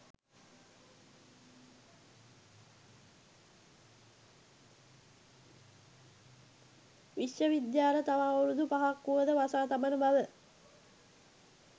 විශ්ව විද්‍යාල තව අවුරුදු පහක් වුවද වසා තබන බව